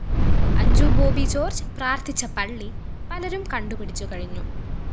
അഞ്ജു ബോബി ജോര്‍ജ് പ്രാര്‍ത്ഥിച്ച പള്ളി പലരും കണ്ടുപിടിച്ചുകഴിഞ്ഞു